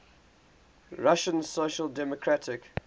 russian social democratic